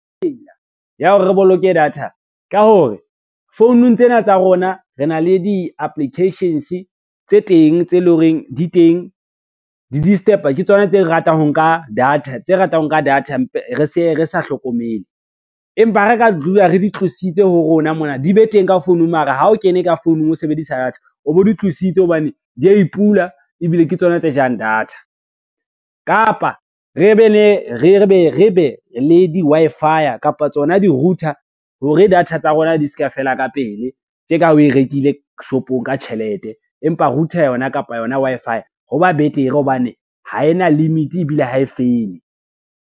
Tsela ya hore re boloke data ka hore founung tsena tsa rona re na le di-applications tse teng tse leng horeng di teng ke tsona tse re ratang ho nka data tse ratang ho nka data re sa hlokomele, empa ha re ka dula re di tlositse ho rona mona, di be teng ka founung mara ha o kene ka founung o sebedisa data o bo di tlositse hobane, di a e pula ebile ke tsona tse jang data. Kapa re be le di-Wi-Fi kapa tsona di-router hore data tsa rona di ska fela ka pele, tje ka ha oe rekile shopong ka tjhelete, empa router yona kapa yona Wi-Fi ho ba betere hobane ha ena limit ebile ha e fele.